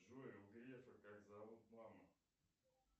джой у грефа как зовут маму